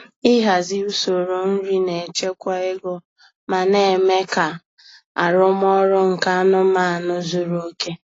Ịhazi usoro nri na-echekwa ego ma na-eme ka arụmọrụ nke anụmanụ zuru oke.